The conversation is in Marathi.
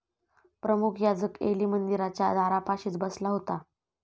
प्रमुख याजक एली मंदिराच्या दारापाशीच बसला होता.